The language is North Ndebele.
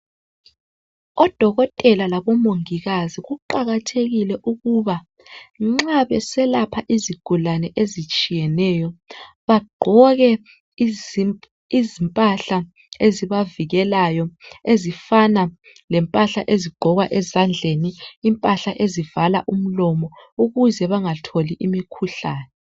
Odokotela labo Mongikazi kuqakathekile ukuba nxa beselapha izigulane ezitshiyeneyo bagqoke izimpahla esibavikelayo ezifana lempahla ezigqokwa ezandleni. Impahla ezivala umlomo ukuze bengatholi imikhuhlane.